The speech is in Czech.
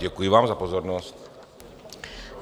Děkuji vám za pozornost.